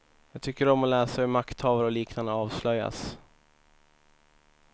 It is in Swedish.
Jag tycker om att läsa om hur makthavare och liknande avslöjas.